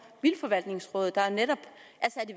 vildtforvaltningsrådet der netop